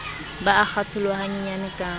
ba a kgatholoha hanyenyane ka